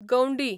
गवंडी